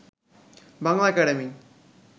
Bangla academy